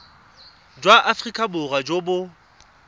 jwa aforika borwa jo bo